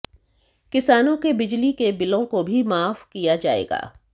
किसानों के बिजली के बिलों को भी माफ किया जाएगा